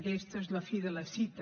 aquesta és la fi de la cita